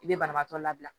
I bɛ banabaatɔ labila